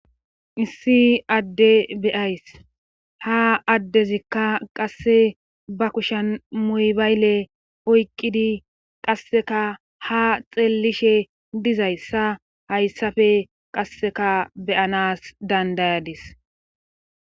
Issi adde beyays ha addezikka qasse ba kushen muybayle oyqqidi qasseka ha xeellishe dizayssa hayssafe qasseka beyanas dandayadis.